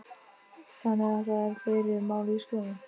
Þannig að það eru fleiri mál í skoðun?